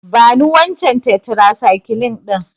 Bani wancan tetracycline ɗin.